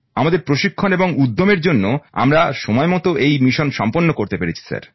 আমাদের প্রশিক্ষণ এবং উদ্যমের জন্য আমরা সময়মতো এই মিশন সম্পন্ন করতে পেরেছি স্যার